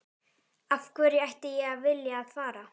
Af hverju ætti ég að vilja að fara?